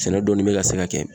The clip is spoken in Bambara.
Sɛnɛ dɔɔni be ka se ka kɛ.